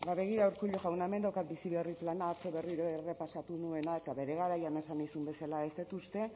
ba begira urkullu jauna hemen daukat bizi berri plana atzo berriro errepasatu nuena eta bere garaian esan nizun bezala ez dut uste